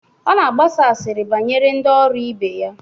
Ọ nọ na-agbasa asịrị banyere ndị ọrụ ibe ya.